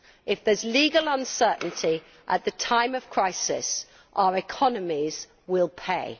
If there is legal uncertainty at the time of crisis, our economies will pay.